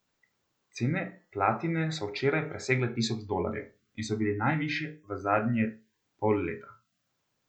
Cene platine so včeraj presegle tisoč dolarjev in so bile najvišje v zadnje pol leta.